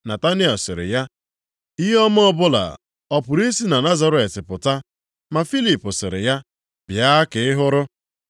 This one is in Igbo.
Nataniel sịrị ya, “Ihe ọma ọbụla ọ pụrụ i si na Nazaret pụta?” Ma Filip sịrị ya, “Bịa ka ị hụrụ.”